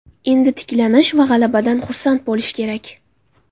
Endi tiklanish va g‘alabadan xursand bo‘lish kerak.